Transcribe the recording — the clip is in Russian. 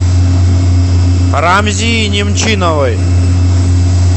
рамзии немчиновой